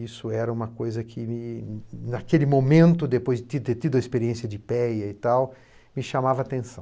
Isso era uma coisa que me, naquele momento, depois de ter tido a experiência de i pê á e tal, me chamava a atenção.